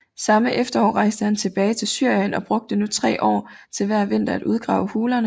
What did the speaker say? Samme efterår rejste han tilbage til Syrien og brugte nu tre år til hver vinter at udgrave hulerne